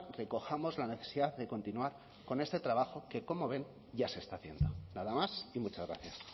recojamos la necesidad de continuar con este trabajo que como ven ya se está haciendo nada más y muchas gracias